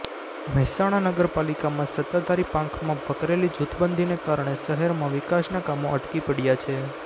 મહેસાણા નગર પાલિકામાં સત્તાધારી પાંખમાં વકરેલી જૂથબંધીને કારણે શહેરમાં વિકાસના કામો અટકી પડયા છે